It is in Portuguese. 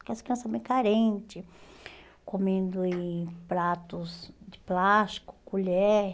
Aquelas crianças bem carente, comendo em pratos de plástico, colher.